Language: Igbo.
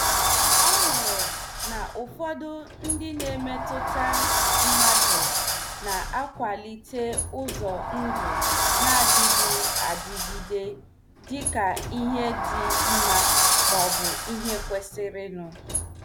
Ọ hụrụ na ụfọdụ ndị na- emetụta mmadụ na- akwalite ụzọ ndụ na- adịghị adịgide dịka ihe dị mma maọbụ ihe kwesịrịnụ.